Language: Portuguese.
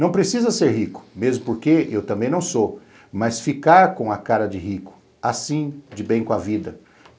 Não precisa ser rico, mesmo porque eu também não sou, mas ficar com a cara de rico, assim, de bem com a vida.